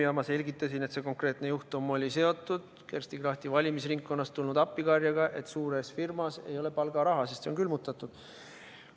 Ja ma selgitasin, et see konkreetne juhtum oli seotud Kersti Krachti valimisringkonnast tulnud appikarjega, et suures firmas ei ole palgaraha, sest see on külmutatud.